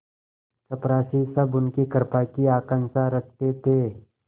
चपरासीसब उनकी कृपा की आकांक्षा रखते थे